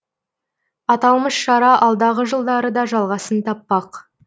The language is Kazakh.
аталмыш шара алдағы жылдары да жалғасын таппақ